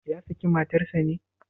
Ya saki matarsa ne?